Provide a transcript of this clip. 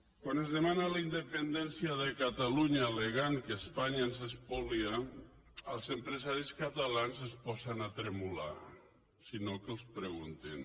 quan es demana la independència de catalunya allegant que espanya ens espolia els empresaris catalans es posen a tremolar i si no que els ho preguntin